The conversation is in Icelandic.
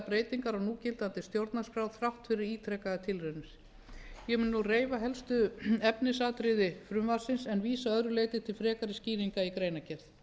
breytingar á núgildandi stjórnarskrá þrátt fyrir ítrekaðar tilraunir ég mun nú reifa helstu efnisatriði frumvarpsins en vísa að öðru leyti til frekari skýringa í greinargerð